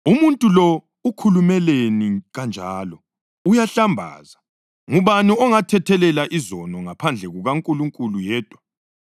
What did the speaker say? “Umuntu lo ukhulumeleni kanjalo? Uyahlambaza! Ngubani ongathethelela izono ngaphandle kukaNkulunkulu yedwa?”